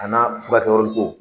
A n'a furakɛ yɔrɔli ko.